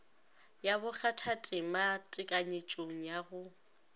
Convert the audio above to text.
ya bokgathatema tekanyetšong ya go